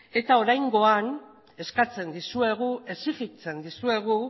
eta oraingoan eskatzen dizuegu exigitzen dizuegu